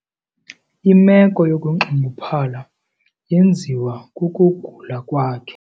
Imeko yokunxunguphala yenziwa kukugula kwakhe.